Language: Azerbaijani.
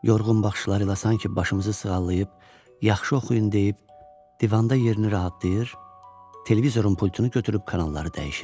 Yorğun baxışları ilə sanki başımızı sığallayıb, yaxşı oxuyun deyib, divanda yerini rahatlayır, televizorun pultunu götürüb kanalları dəyişir.